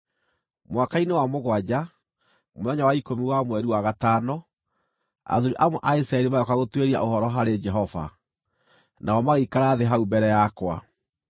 Mwaka-inĩ wa mũgwanja, mũthenya wa ikũmi wa mweri wa gatano, athuuri amwe a Isiraeli magĩũka gũtuĩria ũhoro harĩ Jehova, nao magĩikara thĩ hau mbere yakwa.